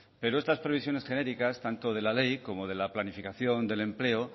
pero estas previsiones genéricas tanto de la ley como de la planificación del empleo